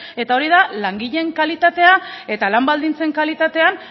eta hori da langileen kalitatea eta lan baldintzen kalitatean